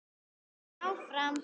Og áfram.